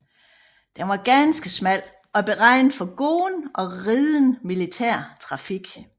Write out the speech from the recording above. Den var ganske smal og beregnet for gående og ridende militær trafik